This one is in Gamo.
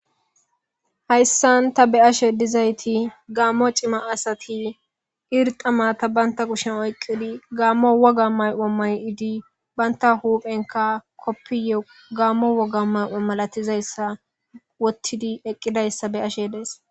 hayssan ta be'ashe dizayti gaammo cima asati irxamata banta kushen oyqqidi gaammo woga may7o may7idi banta huphenka koppiye gaammo woga may7o malatizayssa wottidi eqqidayssa be'ashe dees